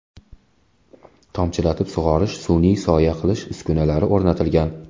Tomchilatib sug‘orish, sun’iy soya qilish uskunalari o‘rnatilgan.